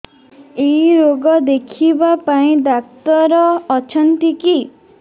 ଏଇ ରୋଗ ଦେଖିବା ପାଇଁ ଡ଼ାକ୍ତର ଅଛନ୍ତି କି